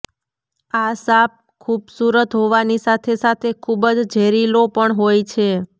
આ સાંપ ખુબસુરત હોવાની સાથે સાથે ખુબ જ ઝેરીલો પણ હોય છે